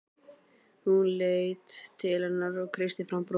Hún leit til hennar og kreisti fram bros.